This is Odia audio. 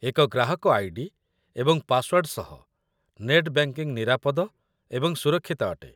ଏକ ଗ୍ରାହକ ଆଇ.ଡି. ଏବଂ ପାସୱାର୍ଡ ସହ ନେଟ୍ ବ୍ୟାଙ୍କିଙ୍ଗ ନିରାପଦ ଏବଂ ସୁରକ୍ଷିତ ଅଟେ